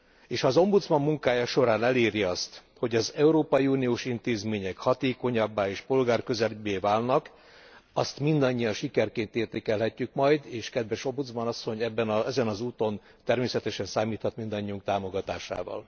És ha az ombudsman munkája során eléri azt, hogy az európai uniós intézmények hatékonyabbá és polgárközelibbé válnak, azt mindannyian sikerként értékelhetjük majd, és kedves Ombudsman asszony, ezen az úton természetesen számíthat mindannyiunk támogatásával.